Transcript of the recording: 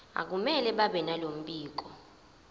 akumele babenalo mbiko